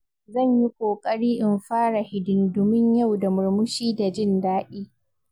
Zan yi ƙoƙari in fara hidindimun yau da murmushi da jin daɗi.